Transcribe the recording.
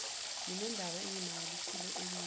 nginendaba engimangalisile engize